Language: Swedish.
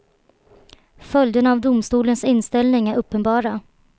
Följderna av domstolens inställning är uppenbara.